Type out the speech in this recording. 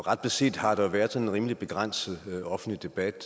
og ret beset har der været en rimelig begrænset offentlig debat